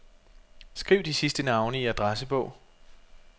Skriv de sidste navne i adressebog.